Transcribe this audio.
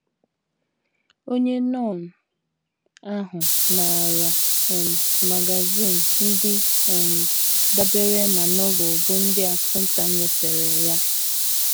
Onye nọn ahụ naara um magazin ndị um dabeere na Novel bụ́ ndị Assunta nyefere ya.